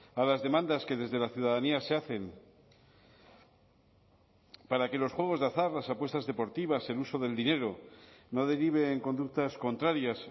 a las demandas que desde la ciudadanía se hacen para que los juegos de azar las apuestas deportivas el uso del dinero no derive en conductas contrarias